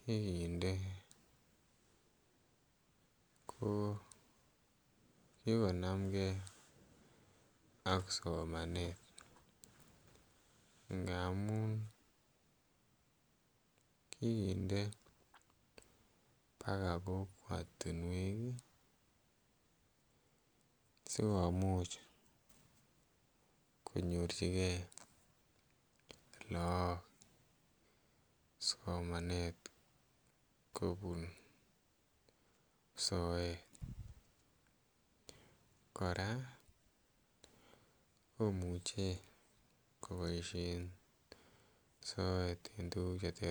kikinde ko kikonamkei ak somanet ngamun kikinde mpaka kokwatinwek sikomuch konyorchikei akok somanet kopun soet. Kora komuchi kopaishen soet en tukuk che ter ter.